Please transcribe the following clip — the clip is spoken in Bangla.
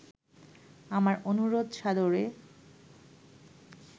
আমার অনুরোধ সাদরে